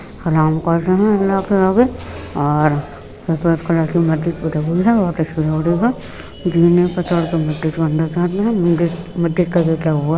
सलाम कर रहे हैं अल्लाह के आगे और मस्जिद का गेट लगा हुआ है।